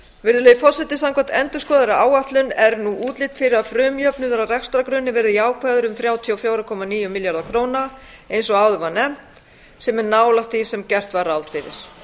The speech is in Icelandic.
virðulegi forseti samkvæmt endurskoðaðri áætlun er nú útlit fyrir að frumjöfnuður á rekstrargrunni verði jákvæður um þrjátíu og fjögur komma níu milljarða króna eins og áður var nefnt sem er nálægt því sem gert var ráð fyrir